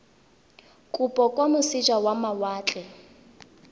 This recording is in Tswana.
kopo kwa moseja wa mawatle